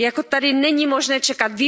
Tady není možné čekat.